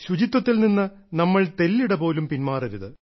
ശുചിത്വത്തിൽ നിന്ന് നമ്മൾ തെല്ലിട പോലും പിന്മാറരുത്